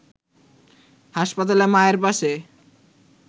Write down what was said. হাসপাতালে মায়ের পাশে